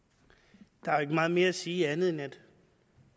der er jo ikke meget mere at sige andet end at